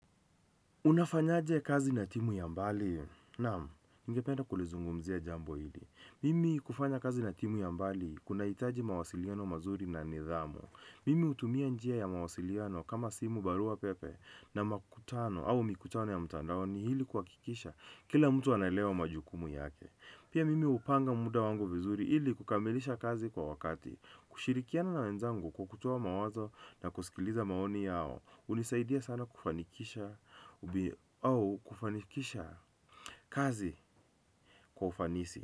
Unafanyaje kazi na timu ya mbali? Naam, ningependa kulizungumzia jambo hili mimi kufanya kazi na timu ya mbali kunahitaji mawasiliano mazuri na nidhamu. Mimi hutumia njia ya mawasiliano kama simu, barua pepe, na makutano au mikutano ya mtandaoni ili kuhakikisha kila mtu anaelewa majukumu yake. Pia mimi hupanga muda wangu vizuri ili kukamilisha kazi kwa wakati, kushirikiana na wenzangu kukutoa mawazo na kusikiliza maoni yao, hunisaidia sana kufanikisha kazi kwa ufanisi.